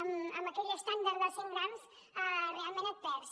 amb aquell estàndard dels cent grams realment et perds